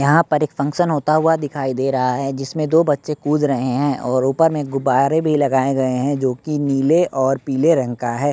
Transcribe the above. यहाँ पर एक फंक्शन होता हुआ दिखाई दे रहा है जिसमें दो बच्चे कूद रहे हैं और ऊपर में गुब्बारे भी लगाए गए हैं जोकि नीले और पीले रंग का है।